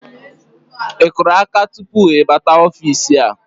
Ị kụrụ áká tupu ị bata ofiisi a?